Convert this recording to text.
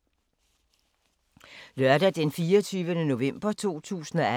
Lørdag d. 24. november 2018